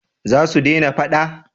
za su dena fada?